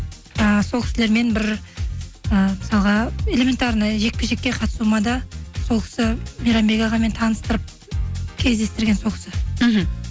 ііі сол кісілермен бір і мысалға элементарно жекпе жекке қатысуыма да сол кісі мейрамбек ағамен таныстырып кездестірген сол кісі мхм